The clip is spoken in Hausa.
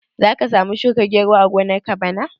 Za ka samu shuka gero a gonar ka bana?